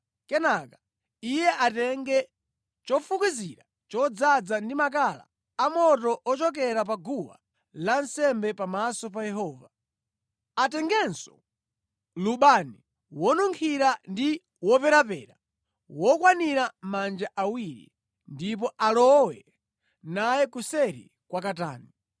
Kenaka iye atenge chofukizira chodzaza ndi makala a moto ochokera pa guwa lansembe pamaso pa Yehova. Atengenso lubani wonunkhira ndi woperapera wokwanira manja awiri, ndipo alowe naye kuseri kwa katani.